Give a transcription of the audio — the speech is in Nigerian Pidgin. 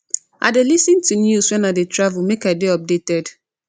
i dey lis ten to news wen i dey travel make i dey updated